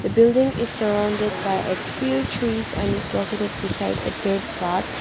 building is surrounded by a few trees and is located beside a dirt path.